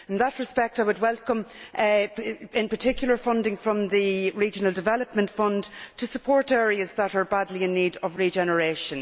In that respect, I would particularly welcome funding from the Regional Development Fund to support areas that are badly in need of regeneration.